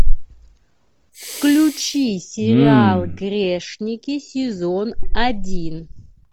включи сериал грешники сезон один